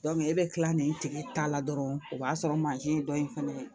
e bɛ kila nin tigi ta la dɔrɔn o b'a sɔrɔ ye dɔ in fɛnɛ ye